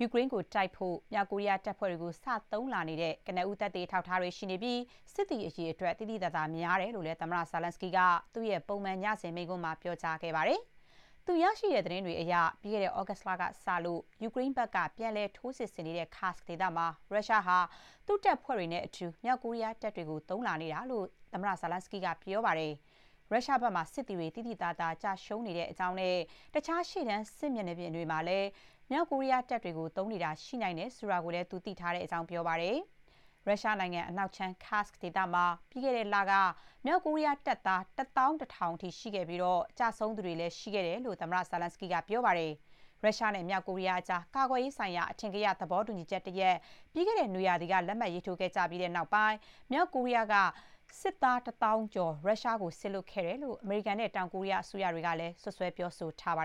ယူကရိန်းကို တိုက်ဖို့ မြောက်ကိုရီးယား တပ်ဖွဲတွေကို စ သုံးလာနေတဲ့ ကနဦး သက်သေ အထောက်အထားတွေ ရှိနေပြီး စစ်သည် အရေအတွက် သိသိသာသာ များတယ်လို့လည်း သမ္မတ Zelenskyy က သူ့ရဲ့ ပုံမှန် ညစဥ်မိန့်ခွန်းမှာ ပြောကြားခဲ့ပါတယ်။ သူ ရရှိတဲ့ သတင်းတွေအရ ပြီးခဲ့တဲ့ သြဂုတ်လကစလို့ ယူကရိန်းဘက်က ပြန်လည် ထိုးစစ်ဆင်နေတဲ့ Kursk ဒေသမှာ ရုရှားဟာ သူ့တပ်ဖွဲ့တွေနဲ့အတူ မြောက်ကိုရီးယားတပ်တွေကို သုံးလာနေတာလို့ သမ္မတ Zelenskyy က ပြောပါတယ်။ ရုရုားဘက်မှာ စစ်သည်တွေ သိသိသာသာ ကျရှုံးနေတဲ့အကြောင်းနဲ့ တခြား ရှေ့တန်း စစ်မြေပြင်တွေမှာပါ မြောက်ကိုရီးယားတပ်တွေကို သုံးနေတာ ရှိနိုင်တယ်ဆိုတာကိုလည်း သူ သိထားရတဲ့အကြောင်း ပြောပါတယ်။ ရုရှားနိုင်ငံ အနောက်ခြမ်း Kursk ဒေသမှာ ပြီးခဲ့တဲ့လက မြောက်ကိုရီးယား တပ်သာ ၁၁,၀၀၀ အထိ ရှိခဲ့ပြီး ကျဆုံးသူတွေလည်း ရှိခဲ့တယ်လို့ သမ္မတ Zelenskyy က ပြောပါတယ်။ ရုရှားနဲ့ မြောက်ကိုရီးယားကြား ကာကွယ်ရေးဆိုင်ရာ အထင်ကရ သဘောတူညီချက်တရပ် ပြီးခဲ့တဲ့နွေရာသီက လက်မှတ် ရေးထိုး ခဲ့ကြပြီးနောက်ပိုင်း မြောက်ကိုရီးယားက စစ်သား ၁ သောင်းကျော် ရုရှားကို စေလွှတ်ခဲ့တယ်လို့ အမေရိကန်နဲ့ တောင်ကိုရီးယား အစိုးရတွေကလည်း စွပ်စွဲ ပြောဆိုထားကြပါ